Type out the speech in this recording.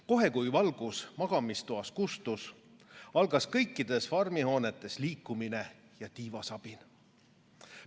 Kohe, kui valgus magamistoas kustus, algas kõikides farmihoonetes liikumine ja tiivasabin.